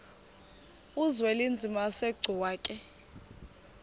uzwelinzima asegcuwa ke